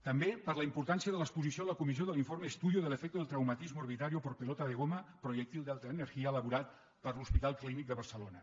també per la importància de l’exposició a la comissió de l’informe estudio del efecto del traumatismo orbitario por pelota de goma proyectil de alta energía elaborat per l’hospital clínic de barcelona